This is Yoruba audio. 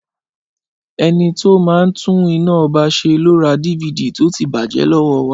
Ẹnití ó máa ń tún iná ọba ṣe lo ra DVD tọ ti bàjé lọ́wọ́ wa